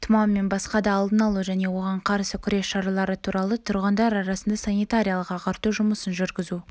тұмау мен басқа да алдын алу және оған қарсы күрес шаралары туралы тұрғындар арасында санитариялық-ағарту жұмысын жүргізу